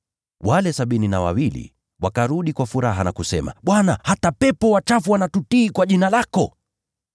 Wale sabini na wawili wakarudi kwa furaha, na kusema, “Bwana, hata pepo wachafu wanatutii kwa jina lako.”